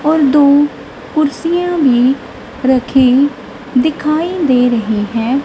और दो कुर्सियां भी रखी दिखाई दे रही हैं।